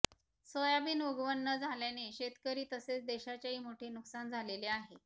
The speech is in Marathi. सोयाबीन उगवण न झाल्याने शेतकरी तसेच देशाचेही मोठे नुकसान झालेले आहे